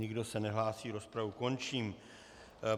Nikdo se nehlásí, rozpravu končím.